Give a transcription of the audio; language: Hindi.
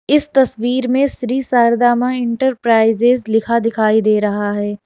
इस तस्वीर में श्री शारदा मां इंटरप्राइजेज लिखा दिखाई दे रहा है।